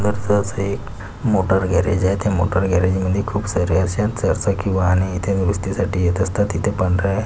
सुंदरस आस एक मोटरगॅरेज आहे त्या मोटर गॅरेज मध्ये खूप सारे अश्या चार चाकी वाहने इथे दुरूस्तीसाठी येत असतात तिथे पांढर्‍या --